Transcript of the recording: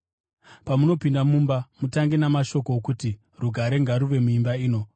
“Pamunopinda mumba, mutange namashoko okuti, ‘Rugare ngaruve muimba ino.’